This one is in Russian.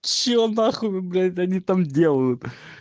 все на хуй блять они там делают